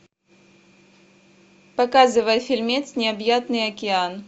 показывай фильмец необъятный океан